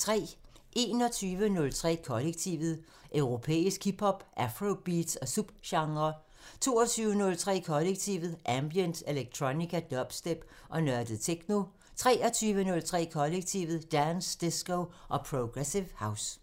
21:03: Kollektivet: Europæisk hip hop, afrobeats og subgenrer 22:03: Kollektivet: Ambient, electronica, dubstep og nørdet techno 23:03: Kollektivet: Dance, disco og progressive house